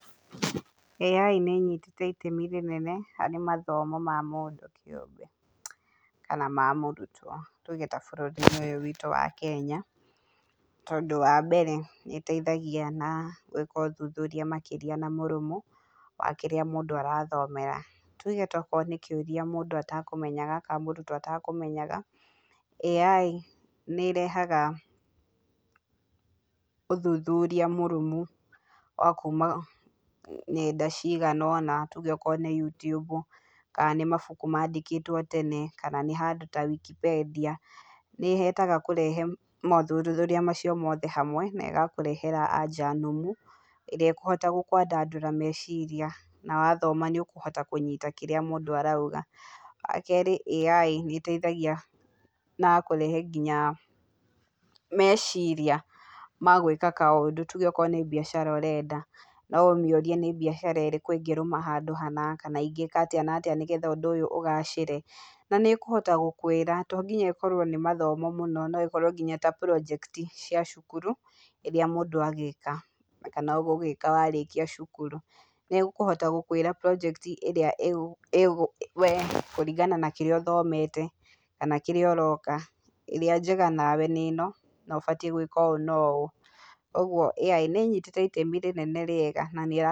AI nĩ ĩnyitĩte itemi rĩnene harĩ mathomo mamũndũ kĩũmbe, kana mamũrutwo. Tuge tabũrũri-inĩ ũyũ witũ wa Kenya, tondũ wambere nĩ ĩteithagia na gũĩka ũthuthuria makĩria na mũrũmu, wa kĩrĩa mũndũ arathomera, tuge okorũo nĩ kĩũria mũrutwo etekũmenyaga, AI nĩ ĩrehaga ũthuthuria mũrũmu, wa kuuma ng'enda ciganona, tuge okorwo nĩ YouTube, kana nĩ mabuku mandĩkĩtwo tene, kana handũ taWikipendia, nĩyendaga kũrehe mothuthuria mau mothe hamwe, na ĩgakũhe anja nũmu, ĩrĩa ĩkũhota kwandandura meciria, na wathoma nĩ ũkũhota kũmenya ũrĩa marauga. Wakerĩ, AI nĩ ĩteithagia na kũrehe nginya meciria magwĩka kaũndũ, tuge okorwo nĩ mbiacara ũrenda, noũmĩũrie nĩ mbiacara ĩrĩkũ ĩngĩrũma handũ hana, kana ingĩka atĩa na atĩa nĩgetha ũndũ ũyũ ũgacĩre, na nĩ ĩkũhota gũkũĩira, tondinya ĩkorwo nĩ mathomo mũno, noĩkorwo tanginya project cia cukuru, ĩrĩa mũndũ agĩka, kana ũgũgĩka warĩkia cukuru. Nĩ ĩkũhota gũkwĩra project ĩrĩa we kũringana na kĩrĩa ũthomete, kana kĩrĩa ũroka, ĩrĩa njega nawe nĩ ĩno, nobatiĩ gũĩka ũũ na ũũ. Ũguo AI nĩ ĩnyĩtĩte itemi inene na rĩega.